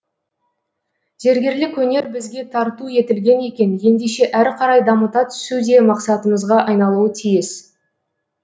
зергерлік өнер бізге тарту етілген екен ендеше әрі қарай дамыта түсу де мақсатымызға айналуы тиіс